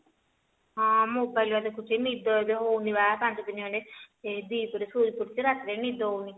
ହଁ mobile ବା ଦେଖୁଛି ନିଦ ଏବେ ହଉନି ବା ପାଞ୍ଚ ଦିନ ହେଲାଣି ସେଇ ଦି ପହରେ ଶୋଇ ପଡୁଛି ରାତିରେ ନିଦ ହଉନି